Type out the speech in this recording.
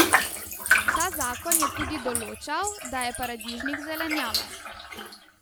Ta zakon je tudi določal, da je paradižnik zelenjava.